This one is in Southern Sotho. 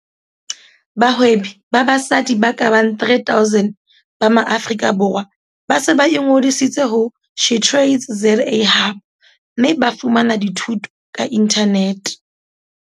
Bahwebi ba basadi ba ka bang 3 000 ba Maaforika Borwa ba se ba ingodisitse ho SheTradesZA Hub mme ba fumana dithuto ka inthanete.